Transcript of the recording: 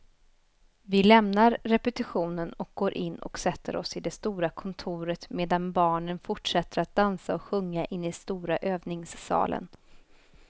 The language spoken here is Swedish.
Vi lämnar repetitionen och går in och sätter oss i det stora kontoret medan barnen fortsätter att dansa och sjunga inne i stora övningssalen.